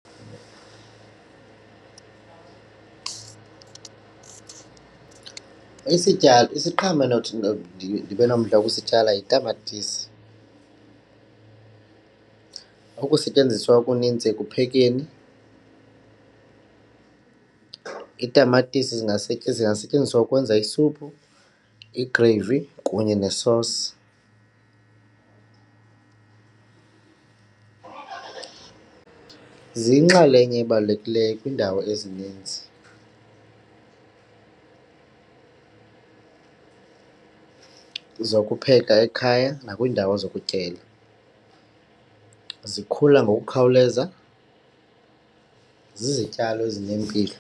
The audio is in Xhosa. Isityalo isiqhamo enothi ndibe nomdla wosityala yitamatisi, ukusetyenziswa okunintsi ekuphekeni. Iitamatisi zingasetyenziswa ukwenza isuphu, igreyiphu kunye nesosi. Ziyinxalenye ebalulekileyo kwiindawo ezininzi zokupheka ekhaya nakwiindawo zokutyela, zikhula ngokukhawuleza, zizityalo ezinempilo.